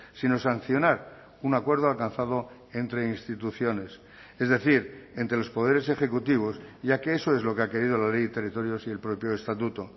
sino sancionar un acuerdo alcanzado entre instituciones es decir entre los poderes ejecutivos ya que eso es lo que ha querido la ley de territorios y el propio estatuto